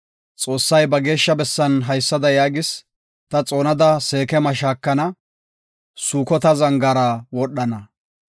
Xoossay ba geeshsha bessan haysada yaagis; “Ta xoonada Seekema shaakana; Sukota zangaara gishana.